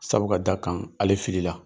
Sabu ka d'a kaan, ale filila.